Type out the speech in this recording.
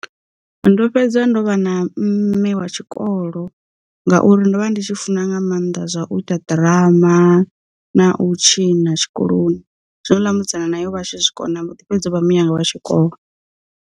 Ndo fhedza ndo vha na mme wa tshikolo, ngauri ndo vha ndi tshi funa nga maanḓa zwa u ita ḓirama, na u tshi na tshikoloni zwino houḽa musidzana naye o vhatshi zwikona a mbo ḓi fhedza o vha mme anga wa tshikolo.